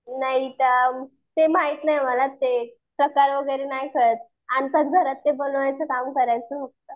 नाही ते माहित नाही मला ते प्रकार वगैरे नाही कळत आणतात घरात ते बनवायचं काम करायचं फक्त.